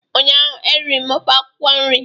ụnyahụ eriri m ofe akwụkwọ nri